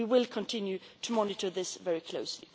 We will continue to monitor this very closely.